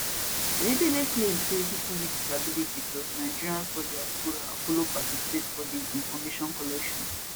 oyedele claim say pipo wit disability plus nigerians for diaspora follow participate for di information collection